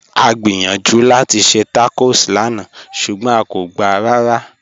À gbíyànjú láti ṣẹ́ tacọ́s lànà ṣugbọn à kò gbá rárá